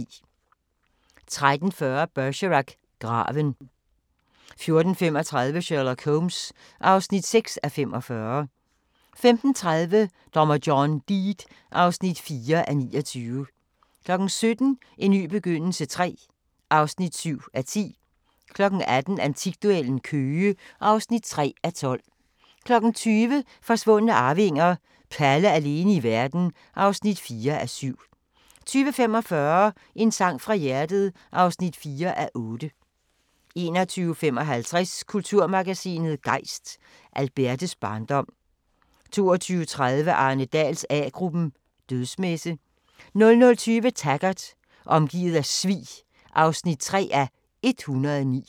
13:40: Bergerac: Graven 14:35: Sherlock Holmes (6:45) 15:30: Dommer John Deed (4:29) 17:00: En ny begyndelse III (7:10) 18:00: Antikduellen – Køge (3:12) 20:00: Forsvundne arvinger: Palle alene i verden (4:7) 20:45: En sang fra hjertet (4:8) 21:55: Kulturmagasinet Gejst: Albertes barndom 22:30: Arne Dahls A-gruppen: Dødsmesse 00:20: Taggart: Omgivet af svig (3:109)